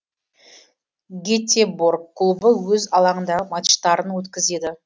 гетеборг клубы өз алаңындағы матчтарын өткізеді